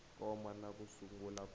koma na ku sungula ku